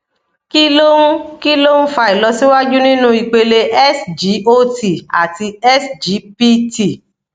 kí ló ń kí ló ń fa ìlọsíwájú nínú ipele sgot àti sgpt